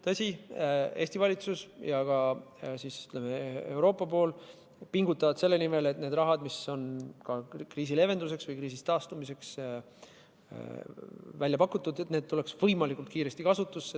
Tõsi, Eesti valitsus ja ka, ütleme, Euroopa pool pingutavad selle nimel, et see raha, mis on kriisi leevenduseks või kriisist taastumiseks välja pakutud, tuleks võimalikult kiiresti kasutusse.